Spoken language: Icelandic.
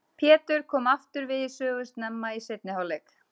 Pétur kom aftur við sögu snemma í seinni hálfleik.